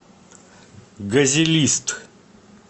газелист